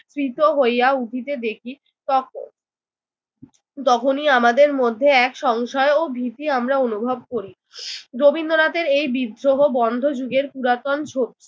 প্রীত হইয়া উঠিতে দেখি তখ তখনি আমাদের মধ্যে এক সংশয় ও ভীতি আমারা অনুভব করি। রবীন্দ্রনাথের এই বিদ্রোহ বন্ধ যুগের পুরাতন